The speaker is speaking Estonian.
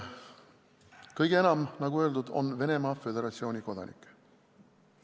Kõige enam, nagu öeldud, on Venemaa Föderatsiooni kodanikke.